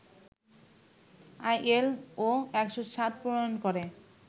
ILO ১০৭ প্রণয়ন করে